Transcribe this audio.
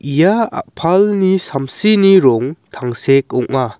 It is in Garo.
ia a·palni samsini rong tangsek ong·a.